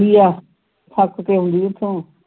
ਏਥੋਂ ਤੱਕ ਕੇ ਆਉਂਦੀ ਹੈ ਏਥੋਂ